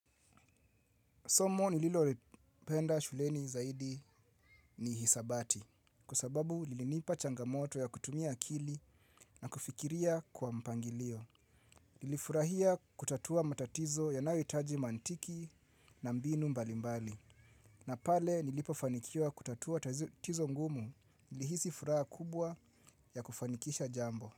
Somo nililolipenda shuleni zaidi ni hisabati kwa sababu lilinipa changamoto ya kutumia akili na kufikiria kwa mpangilio. Nilifurahia kutatua matatizo yanayohitaji maantiki na mbinu mbali mbali. Na pale nilipofanikiwa kutatua tatizo ngumu nilihisi furaha kubwa ya kufanikisha jambo.